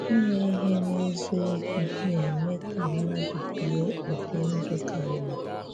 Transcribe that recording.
Ímè ihè n’eziokwu na-eme ka mmadụ̀ biè ụdị̀ ndụ̀ ka mma.